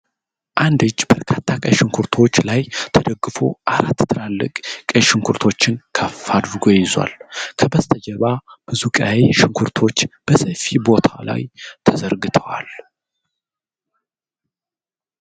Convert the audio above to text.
አንድ እጅ በበርካታ ቀይ ሽንኩርቶች ላይ ተደግፎ አራት ትላልቅ ቀይ ሽንኩርቶችን ከፍ አድርጎ ይዟል። ከበስተጀርባ ብዙ ቀይ ሽንኩርቶች በሰፊ ቦታ ላይ ተዘርግተዋል።